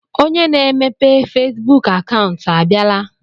Onye na-emepe Fesbuk akaụntụ a bịala?